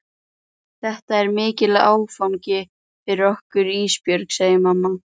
Þetta er mikill áfangi fyrir okkur Ísbjörg, segir mamma.